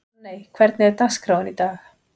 Hanney, hvernig er dagskráin í dag?